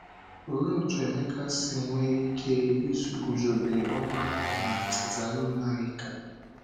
Olee otú Emeka si nwee ike iguzobe ọgbakọ na Tesalonaịka?